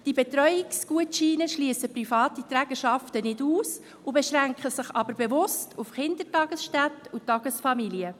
Diese Betreuungsgutscheine schliessen private Trägerschaften nicht aus, beschränken sich aber bewusst auf Kindertagesstätten und Tagesfamilien.